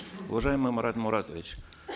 уважаемый марат муратович